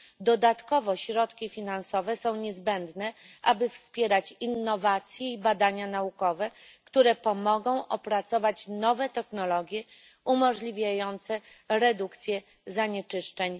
Dodatkowo środki finansowe są niezbędne, aby wspierać innowacje i badania naukowe, które pomogą opracować nowe technologie umożliwiające redukcję zanieczyszczeń.